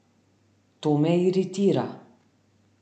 To me iritira.